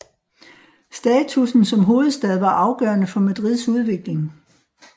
Statussen som hovedstad var afgørende for Madrids udvikling